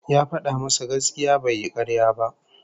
Ya fada musu gaskiya bai yi karya